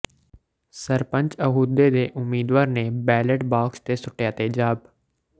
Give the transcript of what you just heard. ਸਰਪੰਚ ਅਹੁਦੇ ਦੇ ਉਮੀਦਵਾਰ ਨੇ ਬੈਲੇਟ ਬਾਕਸ ਤੇ ਸੁੱਟਿਆ ਤੇਜ਼ਾਬ